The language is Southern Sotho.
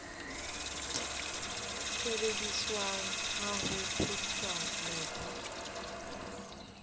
sebediswang wa ho phethola mobu